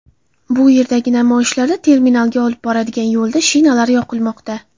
Bu yerdagi namoyishlarda terminalga olib boradigan yo‘lda shinalar yoqilmoqda.